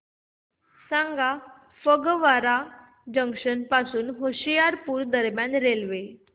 सांगा फगवारा जंक्शन पासून होशियारपुर दरम्यान रेल्वे